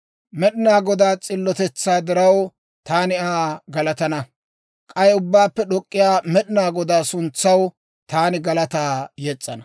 Med'inaa Godaa s'illotetsaa diraw, taani Aa galatana; K'ay Ubbaappe D'ok'k'iyaa Med'inaa Godaa suntsaw, taani galataa yes's'ana.